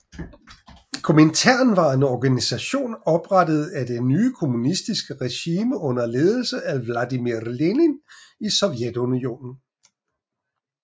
Komintern var en organisation oprettet af det nye kommunistiske regime under ledelse af Vladimir Lenin i Sovjetunionen